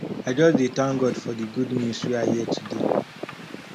i just dey tank god for di good news wey i hear today